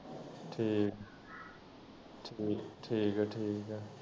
ਠੀਕ ਠੀਕ ਐ ਠੀਕ ਐ ਠੀਕ ਐ।